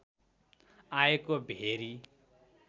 आएको भेरी